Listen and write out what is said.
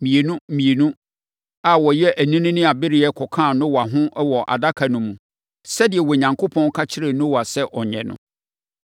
mmienu mmienu a wɔyɛ anini ne abereɛ kɔkaa Noa ho wɔ adaka no mu, sɛdeɛ Onyankopɔn ka kyerɛɛ Noa sɛ ɔnyɛ no.